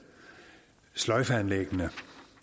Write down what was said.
sløjfeanlæggene